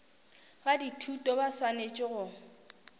ba dithuto ba swanetše go